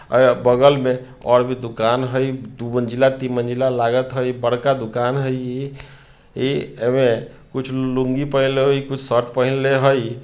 ऐय बगल में और भी दुकान हई दो मंजिला-तीन मंजिला | लागत हय बड़का दुकान है इ ए एमें कुछ लुंगी पहनले ही कुछ शर्ट पहनले हई।